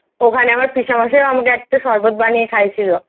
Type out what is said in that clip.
ওখানে আমার পিসেমশাইও আমাকে সরবত বানিয়ে খাইয়ে ছিল।